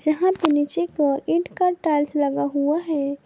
जहां पे नीचे की ओर ईट का टाइल्स लगा हुआ है।